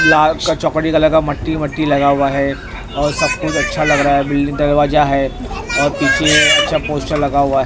लाल चकड़ी कलर का मट्टी मट्टी लगा हुआ है और सब कुछ अच्छा लग रहा है बिल्डिंग दरवाजा है और पीछे अच्छा पोस्टर लगा हुआ है।